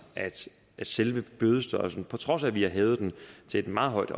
at selve bødestørrelsen på trods af at vi har hævet den til et meget højt